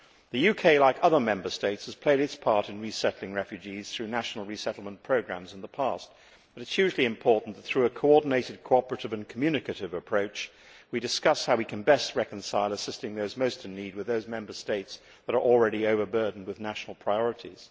The UK, like other Member States, has played its part in resettling refugees through national resettlement programmes in the past, but it is hugely important that through a coordinated, cooperative and communicative approach we discuss how we can best reconcile assisting those most in need with the situations of those Member States that are already overburdened with national priorities.